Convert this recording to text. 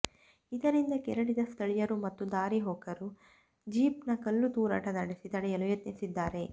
ಇದರಿಂದ ಕೆರಳಿದ ಸ್ಥಳೀಯರು ಮತ್ತು ದಾರಿ ಹೋಕರು ಜೀಪ್ನತ್ತ ಕಲ್ಲು ತೂರಾಟ ನಡೆಸಿ ತಡೆಯಲು ಯತ್ನಿಸಿದ್ದಾರೆ